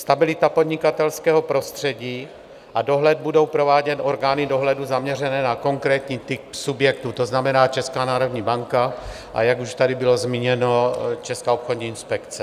Stabilita podnikatelského prostředí a dohled budou provádět orgány dohledu zaměřené na konkrétní typ subjektu, to znamená Česká národní banka, a jak už tady bylo zmíněno, Česká obchodní inspekce.